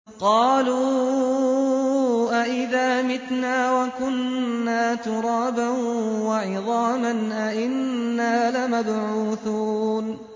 قَالُوا أَإِذَا مِتْنَا وَكُنَّا تُرَابًا وَعِظَامًا أَإِنَّا لَمَبْعُوثُونَ